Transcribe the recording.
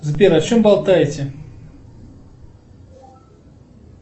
сбер о чем болтаете